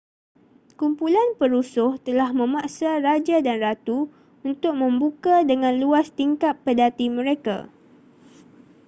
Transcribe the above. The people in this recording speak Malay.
kumpulan perusuh telah memaksa raja dan ratu untuk membuka dengan luas tingkap pedati mereka